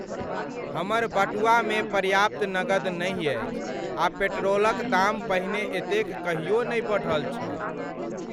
हमर बटुआमे पर्याप्त नगद नहि अछि आ पेट्रोलक दाम पहिने एतेक कहियो नहि बढ़ल छल।